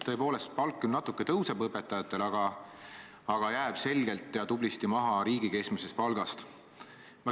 Tõepoolest, õpetajate palk küll natuke tõuseb, aga jääb selgelt ja tublisti maha riigi keskmisest palgast.